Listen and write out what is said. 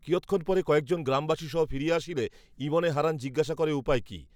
কিয়ৎক্ষণ পরে কয়েকজন গ্রামবাসী সহ ফিরিয়া আসিলে ঈবনে হরান জিজ্ঞেস করে, উপায় কী